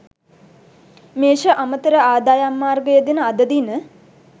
මේෂ අමතර ආදායම් මාර්ග යෙදෙන අද දින